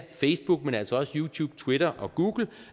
facebook men altså også youtube twitter og google